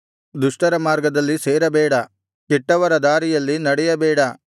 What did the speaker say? ದುಷ್ಟರ ಮಾರ್ಗದಲ್ಲಿ ಸೇರಬೇಡ ಕೆಟ್ಟವರ ದಾರಿಯಲ್ಲಿ ನಡೆಯಬೇಡ